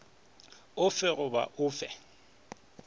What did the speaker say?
o fe goba o fe